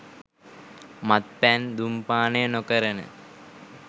මත්පැන් දුම් පානය නොකරන